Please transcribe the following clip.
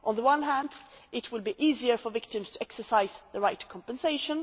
On the one hand, it will be easier for victims to exercise the right to compensation.